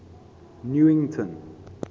newington